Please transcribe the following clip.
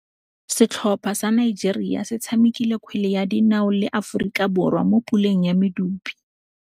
Setlhopha sa Nigeria se tshamekile kgwele ya dinaô le Aforika Borwa mo puleng ya medupe.